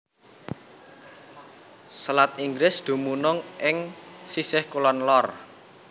Selat Inggris dumunung ing sisih kulon lor